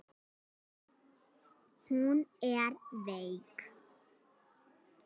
Hún er veik.